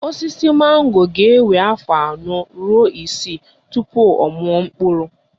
Osisi mango ga-ewe afọ anọ ruo isii tupu ọ mụọ mkpụrụ